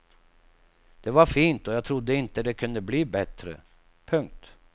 Det var fint och jag trodde inte det kunde bli bättre. punkt